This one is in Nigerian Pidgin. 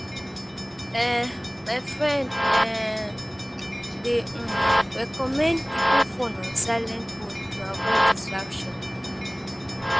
um My friend um dey um recommend keeping phone on silent mode to avoid distractions.